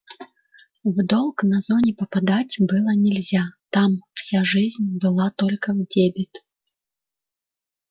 в долг на зоне попадать было нельзя там вся жизнь была только в дебет